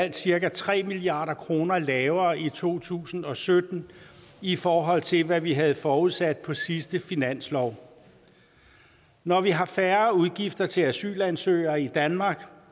er cirka tre milliard kroner lavere i to tusind og sytten i forhold til hvad vi havde forudsat på sidste års finanslov når vi har færre udgifter til asylansøgere i danmark